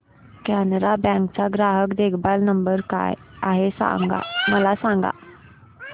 Canara bank चा ग्राहक देखभाल नंबर काय आहे मला सांगा